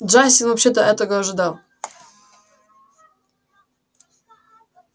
джастин вообще-то этого ожидал